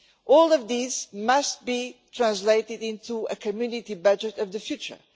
All of these must be translated into a community budget of the future.